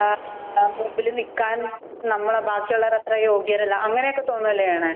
നില്ക്കാൻ ബാക്കിയുള്ളവരുടെ അത്രയും യോഗ്യരല്ല അങ്ങനെയൊക്കെ തോന്നൂലെ